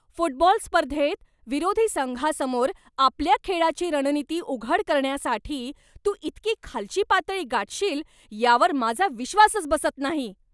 Football स्पर्धेत विरोधी संघासमोर आपल्या खेळाची रणनीती उघड करण्यासाठी तू इतकी खालची पातळी गाठशील यावर माझा विश्वासच बसत नाही.